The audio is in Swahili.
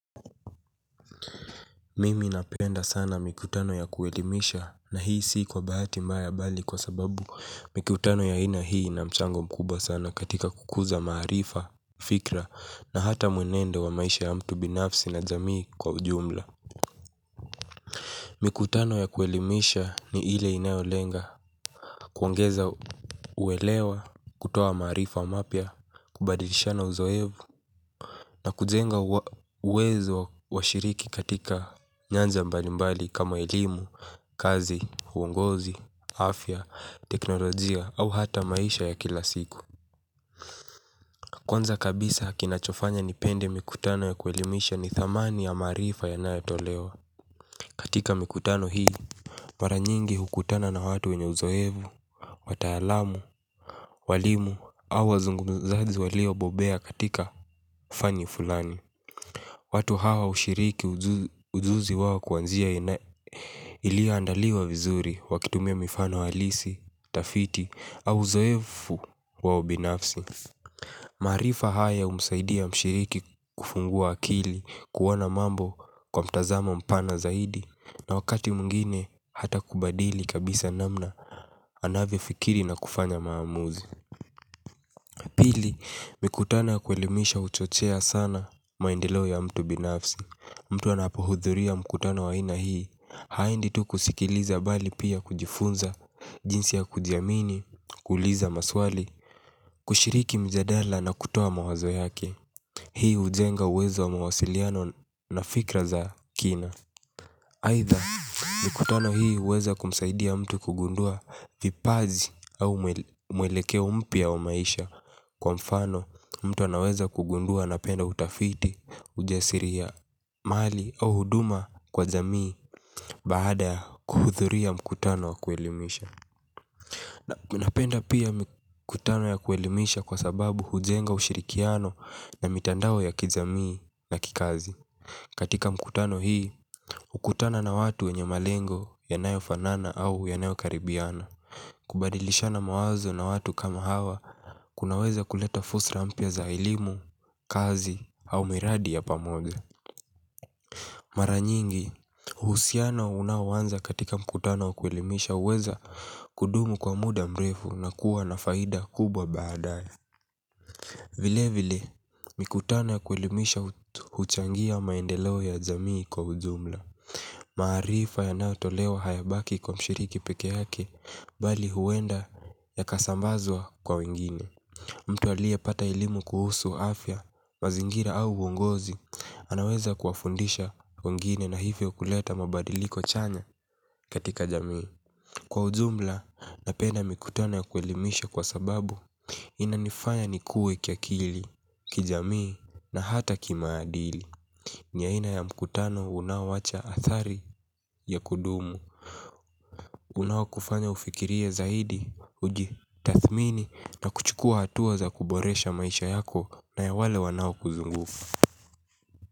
Mimi napenda sana mikutano ya kuelimisha na hii sii kwa bahati mbaya bali kwa sababu mikutano ya aina hii na mchango mkuba sana katika kukuza maarifa, fikra na hata mwenendo wa maisha ya mtu binafsi na zamii kwa ujumla. Mikutano ya kuwelimisha ni ile inayolenga kuongeza kuelewa, kutoa maarifa mapya kubadilisha na uzoevu na kujenga uwezo wa shiriki katika nyanza mbalimbali kama elimu, kazi, uongozi, afya, teknolojia au hata maisha ya kila siku. Kwanza kabisa kinachofanya nipende mikutano ya kuelimisha ni thamani ya maarifa yanayotolewa katika mikutano hii. Mara nyingi hukutana na watu wenye uzoevu, wataalamu, walimu au wazungumzaji walio bobea katika ufani fulani watu hao hushiriki ujuzi wao kwa njia iliyoandaliwa vizuri wakitumia mifano halisi tafiti au uzoefu wa ubinafsi. Maarifa haya humsaidia mshiriki kufungua akili kuona mambo kwa mtazamo mpana zaidi na wakati mwingine hata kubadili kabisa namna anavyofikiri na kufanya maamuzi. Pili, mikutano kuelimisha huchochea sana maendeleo ya mtu binafsi. Mtu anapohudhuria mikutana wa ina hii, haendi tu kusikiliza bali pia kujifunza, jinsi ya kujiamini, kuuliza maswali, kushiriki mjadala na kutoa mawazo yake. Hii ujenga uwezo wa mawasiliano na fikra za kina. Aidha mkutano hii huweza kumsaidia mtu kugundua vipaji au mwelekeo umpia wa maisha kwa mfano mtu anaweza kugundua anapenda utafiti ujasiri ya mali au huduma kwa jamii baada ya kuhudhuria mkutano wa kuelimisha. Napenda pia mkutano ya kuelimisha kwa sababu hujenga ushirikiano ya mitandao ya kijamii na kikazi. Katika mkutano hii, kukutana na watu wenye malengo yanayofanana au yanayokaribiana kubadilishana mawazo na watu kama hawa kunaweza kuleta fusra mpya za elimu, kazi au miradi ya pamoja mara nyingi uhusiano unaoanza katika mkutano wa kuelimisha huweza kudumu kwa muda mrefu na kuwa na faida kubwa baadae. Vile vile, mikutano ya kuelimisha huchangia maendeleo ya jamii kwa ujumla. Maarifa yanayotolewa hayabaki kwa mshiriki peke yake. Bali huenda ya kasambazwa kwa wengine. Mtu alie pata elimu kuhusu afya mazingira au uongozi anaweza kuwafundisha wengine na hivyo kuleta mabadiliko chanya katika jamii. Kwa ujumla na pia mikutano ya kuelimisha kwa sababu inanifanya nikue kiakili, kijamii na hata kimaadili ni aina ya mkutano unaowacha hatari ya kudumu unaokufanya ufikirie zaidi uji tathmini na kuchukua hatua za kuboresha maisha yako na ya wale wanawakuzungufu.